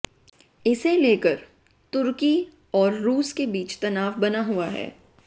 इसे लेकर तुर्की और रूस के बीच तनाव बना हुआ है